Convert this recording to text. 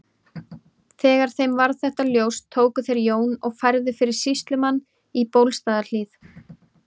Þegar þeim varð þetta ljóst tóku þeir Jón og færðu fyrir sýslumann í Bólstaðarhlíð.